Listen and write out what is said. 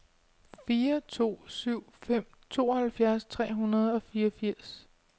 fire to syv fem tooghalvfjerds tre hundrede og fireogfirs